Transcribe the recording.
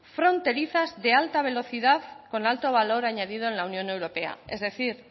fronterizas de alta velocidad con alto valor añadido en la unión europea es decir